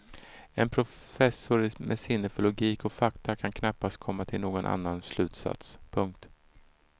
En professor med sinne för logik och fakta kan knappast komma till någon annan slutsats. punkt